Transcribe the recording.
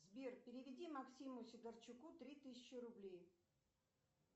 сбер переведи максиму сидорчуку три тысячи рублей